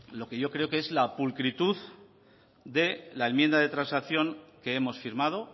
lo que yo creo que es la pulcritud de la enmienda de transacción que hemos firmado